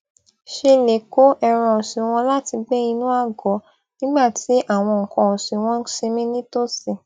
ṣe lè kó ẹran òsìn wọn láti gbé inú ago nígbà tí awon nnkan osin won n sinmi nitosi